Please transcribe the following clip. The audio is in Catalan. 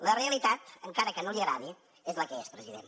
la realitat encara que no li agradi és la que és president